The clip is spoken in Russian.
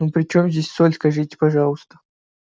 ну при чём здесь соль скажите пожалуйста